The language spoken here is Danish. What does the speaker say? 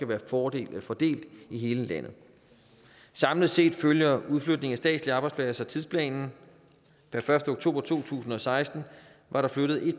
være fordelt fordelt i hele landet samlet set følger udflytningen af statslige arbejdspladser tidsplanen per første oktober to tusind og seksten var der flyttet elleve